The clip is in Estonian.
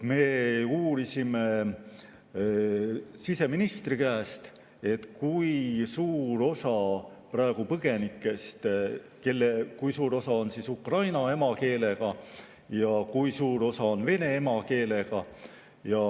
Me uurisime siseministri käest, kui suur osa põgenikest on ukraina emakeelega ja kui suur osa on vene emakeelega.